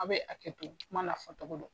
A bɛ hakɛ to kuma n'a fɔ cogo do.